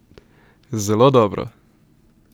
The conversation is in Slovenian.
Zelo dobro!